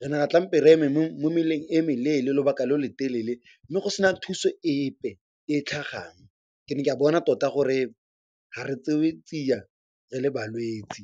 Re ne ra re eme mo meleng e meleele lobaka lo lo telele mme go se na thuso epe e e tlhagang. Ke ne ka bona tota gore ga re tsewe tsiya re le balwetse.